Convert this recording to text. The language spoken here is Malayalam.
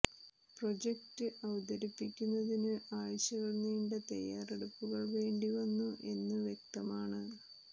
പ്രോജക്റ്റ് അവതരിപ്പിക്കുന്നതിന് ആഴ്ചകൾ നീണ്ട തയ്യാറെടുപ്പുകൾ വേണ്ടി വന്നു എന്ന് വ്യക്തമാണ്